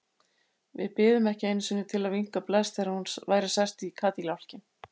Við biðum ekki einu sinni til að vinka bless þegar hún væri sest í kádiljákinn.